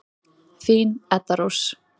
Þín, Edda Rós.